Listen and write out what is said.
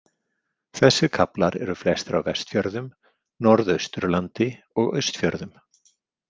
Þessir kaflar eru flestir á Vestfjörðum, Norðausturlandi og Austfjörðum.